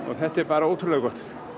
þetta er bara ótrúlega gott